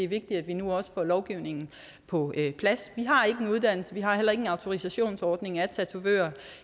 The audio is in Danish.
vigtigt at vi nu også får lovgivningen på plads vi har ikke en uddannelse og vi har heller ikke en autorisationsordning af tatovører